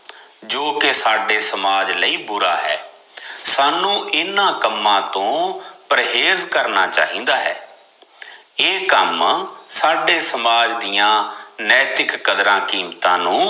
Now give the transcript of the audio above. ਜੋਕਿ ਸਾਡੇ ਸਮਾਜ ਲਈ ਬੁਰਾ ਹੈ, ਸਾਨੂੰ ਇੰਨਾ ਕੰਮਾ ਤੋ ਪਰਹੇਜ ਕਰ ਚਾਹਿਦਾ ਹੈ ਇਹ ਕੰਮ ਸਾਡੇ ਸਮਾਜ ਦੀਆ ਨੈਤਿੱਕ ਕਦਰਾਂ ਕ਼ੀਮਤਾ ਨੂੰ